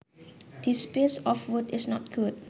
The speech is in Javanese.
This piece of wood is not good